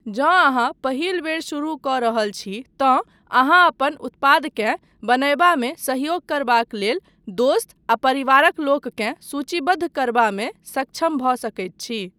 जँ अहाँ पहिल बेर शुरू कऽ रहल छी, तँ अहाँ अपन उत्पादकेँ बनयबामे सहयोग करबाक लेल दोस्त आ परिवारक लोककेँ सूचीबद्ध करबामे सक्षम भऽ सकैत छी।